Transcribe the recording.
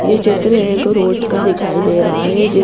ये चित्र एक ऊंट का दिखाई दे रहा है जिस--